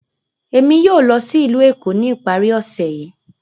Emi yóò lọ si ilu Eko ni ipari ose yii.